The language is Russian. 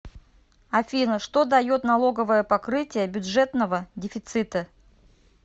афина что дает налоговое покрытие бюджетного дефицита